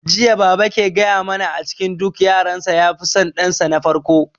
Jiya baba ke gaya mana a cikin duk yaran sa ya fi son dan sa na farko